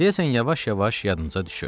Deyəsən yavaş-yavaş yadınıza düşür.